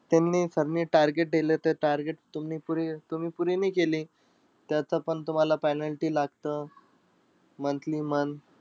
त्यांनी sir ने target देलं ते target तुम्ही पुरे तुम्ही पुरे नाई केली, त्याचं पण तुम्हाला penalty लागतं monthly month.